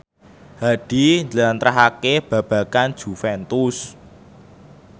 Hadi njlentrehake babagan Juventus